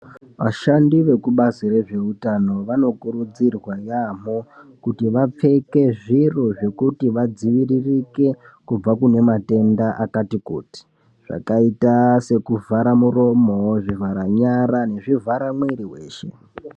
Vashandi vekubazi rezveutano vanokurudzirwa yaamho kuti vapfeke zviro zvekuti vadziviririke kubva kune matenda akati kuti zvakaita sekuvhara muromo ,zvivhara nyara nekuvhara mwiri weshe.